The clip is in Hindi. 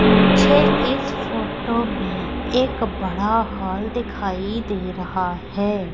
मुझे इस फोटो में एक बड़ा हॉल दिखाई दे रहा है।